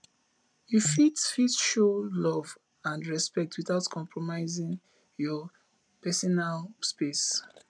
you fit fit show love and respect without compromising your pesinal space